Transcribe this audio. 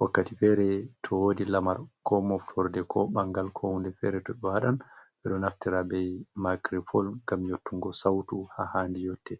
wakkati fere to wodi lamar ko moftorde ko ɓangal ko hunde fere to ɓe waɗan, ɓe ɗo naftirta be micropon ngam yottungo sautu ha handi yotte.